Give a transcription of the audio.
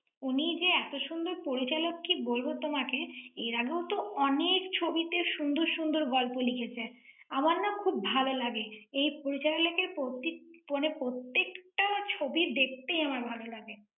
উনি যে এত সুন্দর পরিচালক কি বলবো তোমাকে। এর আগেও তো অনেক ছবিতে সুন্দর সুন্দর গল্প লিখেছেন। আমার না খুব ভাল লাগে। এই পরিচালক এর প্রতীক~ মানে প্রত্যেকটা ছবি দেখতে আমার ভালো লাগে।